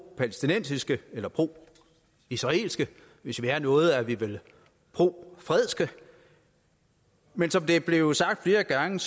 palæstinensiske eller pro israelske hvis vi er noget er vi vel pro fred men som det er blevet sagt flere gange